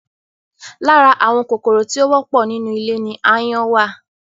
Lára àwọn kòkòrò tí ó wọ́pọ̀ nínú ilé ni ááyán wà